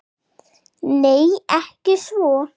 Nei, ekki svo